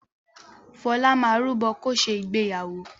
Fọlá máa rúbọ̀ kó ṣe ìgbéyàwó.